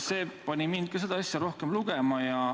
" See pani mind ka seda asja rohkem lugema.